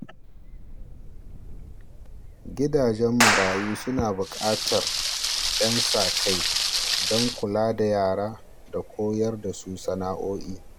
Gidajen marayu suna bukatar ƴan sa-kai don kula da yara da koyar da su sana’o’i.